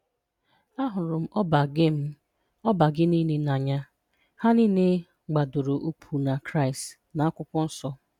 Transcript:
Ahụrụ m ọba gị m ọba gị niile n'anya. Ha niile gbadoro ụkwụ na Kraịst na Akwụkwọ Nsọ.